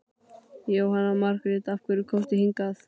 Jóhanna Margrét: Af hverju komstu hingað?